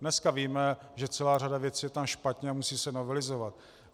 Dneska víme, že celá řada věcí je tam špatně a musí se novelizovat.